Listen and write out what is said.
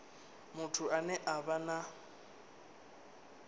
muthu ane a vha na